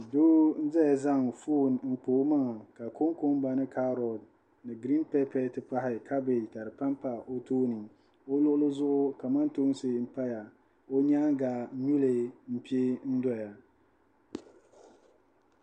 Do n-zaya zaŋ foon n-kpa o maŋa ka kunkumba ni kaaroti ni giriin pɛpɛ nti pahi kabeeji ka di pampa o tooni o luɣili zuɣu kamantoonsi m-paya ka o nyaaŋa nyuli pe n-dɔya